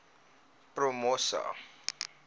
promosa